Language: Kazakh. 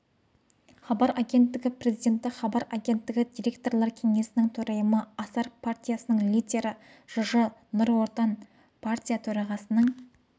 хабар агенттігі президенті хабар агенттігі директорлар кеңесінің төрайымы асар партиясының лидері жж нұр отан партия төрағасының